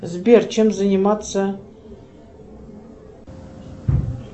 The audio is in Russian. сбер чем заниматься